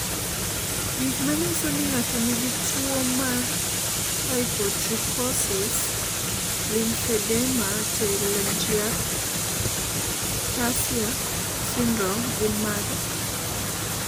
Gik manyiso ni ng'ato nigi tuwo mar Hypotrichosis lymphedema telangiectasia syndrome gin mage?